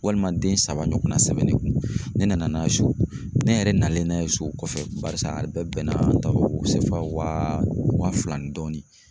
Walima den saba ɲɔgɔnna sɛbɛn ne kun, ne nana n'a ye so ne yɛrɛ nalen n'a ye so kɔfɛ barisa a bɛɛ bɛnna an ta o wa fila ni dɔɔni.